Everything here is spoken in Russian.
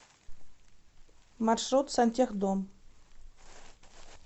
маршрут сантехдом